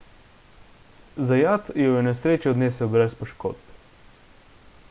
zayat jo je v nesreči odnesel brez poškodb